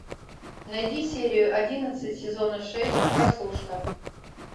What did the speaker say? найди серию одиннадцать сезона шесть прослушка